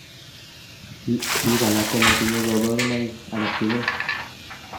biik alak komotinyei kaborunoik alak tugul